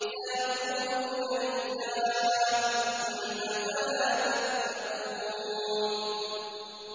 سَيَقُولُونَ لِلَّهِ ۚ قُلْ أَفَلَا تَتَّقُونَ